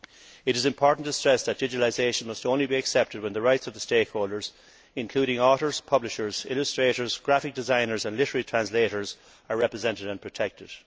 It is important to stress that digitalisation must only be accepted when the rights of the stakeholders, including authors, publishers, illustrators, graphic designers and literary translators, are represented and protected.